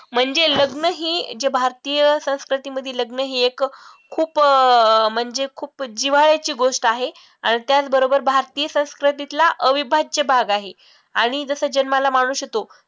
म्हणजे लग्न ही जे भारतीय संस्कृतीमधी लग्न ही एक खूप अं म्हणजे खूप जिव्हाळ्याची गोष्ट आहे आणि त्याच बरोबर भारतीय संस्कृतीतला अविभाज्य भाग आहे आणि जसं जन्माला माणूस येतो.